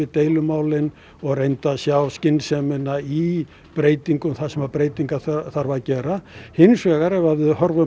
deilumálin og reyndu að sjá skynsemina í breytingum þar sem breytingar þarf að gera hins vegar ef við horfum